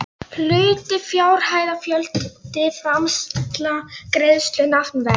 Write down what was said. Hlutir fjárhæð fjöldi framsal greiðsla nafnverð